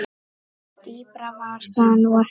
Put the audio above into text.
Dýpra var það nú ekki.